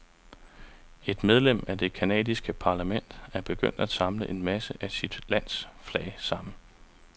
Et medlem af det canadiske parlament er begyndt at samle en masse af sit lands flag sammen.